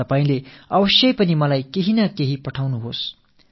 கண்டிப்பாக நீங்கள் உங்கள் உணர்வுகளை எனக்குத் தெரியப்படுத்துங்கள்